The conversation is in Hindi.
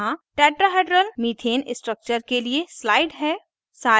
यहाँ tetrahedral tetrahedral methane structure के लिए slide है